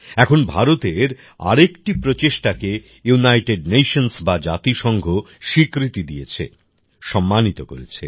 এখন ভারতের আরেকটি প্রচেষ্টাকে ইউনাইটেড নেশনস বা জাতিসংঘ স্বীকৃতি দিয়েছে সম্মানিত করেছে